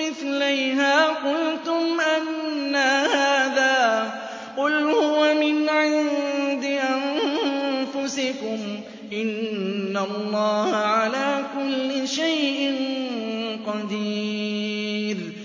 مِّثْلَيْهَا قُلْتُمْ أَنَّىٰ هَٰذَا ۖ قُلْ هُوَ مِنْ عِندِ أَنفُسِكُمْ ۗ إِنَّ اللَّهَ عَلَىٰ كُلِّ شَيْءٍ قَدِيرٌ